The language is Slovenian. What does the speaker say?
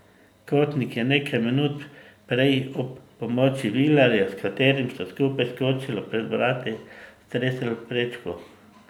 Kotnik je nekaj minut prej ob pomoči Vilerja, s katerim sta skupaj skočila pred vrati, stresel prečko.